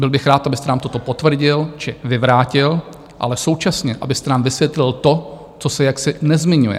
Byl bych rád, abyste nám toto potvrdil či vyvrátil, ale současně abyste nám vysvětlil to, co se jaksi nezmiňuje.